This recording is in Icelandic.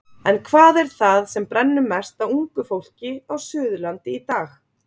En hvað er það sem brennur mest á ungu fólki á Suðurlandi í dag?